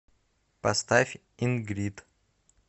поставь ин грид